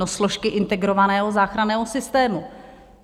No složky integrovaného záchranného systému.